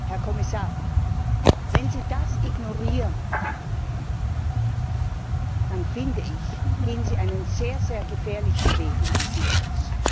Herr Kommissar, wenn Sie das ignorieren, dann, finde ich, gehen Sie einen sehr gefährlichen Weg in diesem Haus.